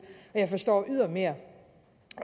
og jeg forstår ydermere